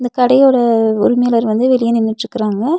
இந்த கடையோட உரிமையாளர் வந்து வெளிய நின்னுட்ருக்கறாங்க.